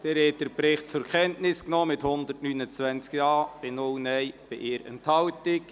Sie haben den Bericht zur Kenntnis genommen mit 129 Ja- zu 0 Nein-Stimmen bei einer Enthaltung.